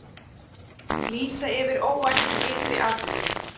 Lýsa yfir óvæntum ytri atvikum